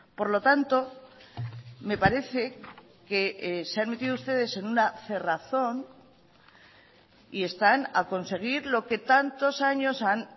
por lo tanto me parece que se han metido ustedes en una cerrazón y están a conseguir lo que tantos años han